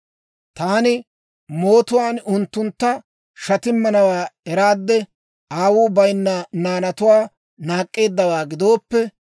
Taani mootuwaan unttuntta shatimmanawaa eraade, aawuu bayinna naanatuwaa naak'k'eeddawaa gidooppe,